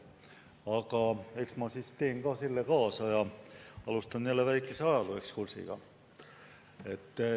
Aga eks ma siis teen ka selle kaasa ja alustan jälle väikese ajalooekskursiga.